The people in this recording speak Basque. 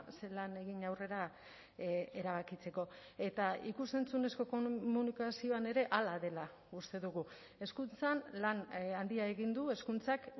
ze lan egin aurrera erabakitzeko eta ikus entzunezko komunikazioan ere hala dela uste dugu hezkuntzan lan handia egin du hezkuntzak